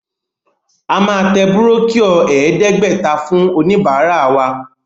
A máa tẹ búrókíọ̀ ẹ̀ẹ́dẹ́gbẹ̀ta fún oníbàárà wa.